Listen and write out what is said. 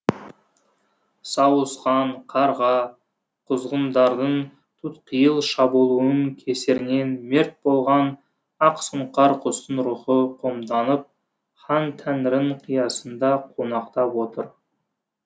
сауысқан қарға құзғындардың тұтқиыл шабуылының кесірінен мерт болған ақсұңқар құстың рухы қомданып хан тәңірінің қиясында қонақтап отыр